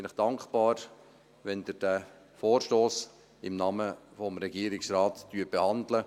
Ich bin Ihnen dankbar, wenn Sie den Vorstoss im Namen des Regierungsrates behandeln.